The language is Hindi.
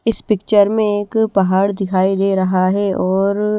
इस पिक्चर मे एक पहाड़ दिखाई दे रहा है और--